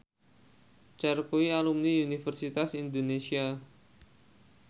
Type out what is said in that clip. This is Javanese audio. Cher kuwi alumni Universitas Indonesia